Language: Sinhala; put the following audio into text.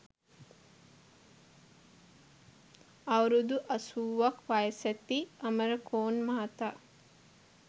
අවුරුදු අසූවක් වයසැති අම‍රකෝන් මහතා